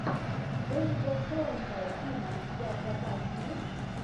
дэвида фрэнкела фильм у тебя в запасе есть